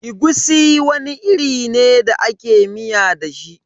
Egusi wani iri ne da ake miya da shi.